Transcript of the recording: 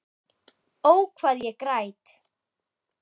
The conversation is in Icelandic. Ó, hvað ég græt.